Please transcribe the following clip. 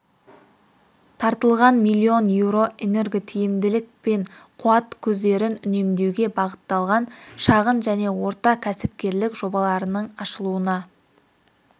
тартылған миллион еуро энерготиімділік пен қуат көздерін үнемдеуге бағытталған шағын және орта кәсіпкерлік жобаларының ашылуына